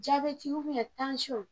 Jaabɛti tansiyɔn.